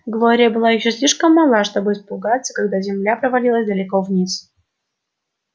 глория была ещё слишком мала чтобы испугаться когда земля провалилась далеко вниз